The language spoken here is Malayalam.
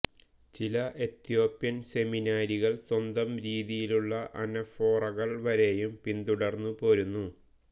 ചില എത്യോപ്യൻ സെമിനാരികൾ സ്വന്തം രീതിയിലുള്ള അനഫോറകൾ വരെയും പിന്തുടർന്നു പോരുന്നു